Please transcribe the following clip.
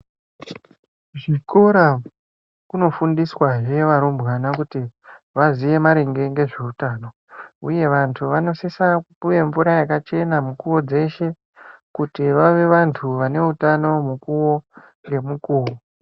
Kuzvikora kunofundiswahe varumbwana kuti vaziye maringe ngezveutano, uye vantu vanosisa kupuva mvura yakachena mukuvo dzeshe. Kuti vave vantu vaneutano mukuvo ngemukuvo.